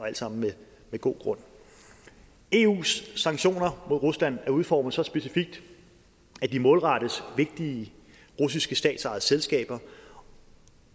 alt sammen med god grund eus sanktioner mod rusland er udformet så specifikt at de målrettes vigtige russiske statsejede selskaber